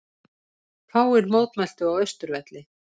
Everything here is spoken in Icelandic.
Fáir mótmæltu á Austurvelli